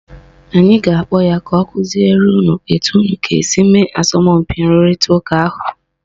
Anyị ga-akpọ ya ka ọ kụziere unu etu unu ga - esi mee asọmpi nrụrịta ụka ahụ